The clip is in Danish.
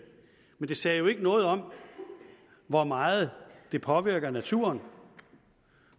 men det sagde jo ikke noget om hvor meget det påvirkede naturen